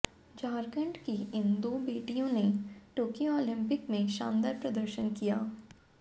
झारखंड की इन दो बेटियों ने टोक्यो ओलंपिक में शानदार प्रदर्शन किया